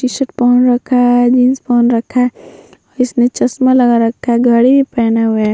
T shirt पहन रखा है जीन्स पहन रखा है इसने चश्मा लगा रखा है घडी पेहेने हुए है।